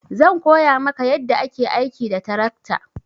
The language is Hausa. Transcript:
Zan koya maka yadda ake aiki da tarakta.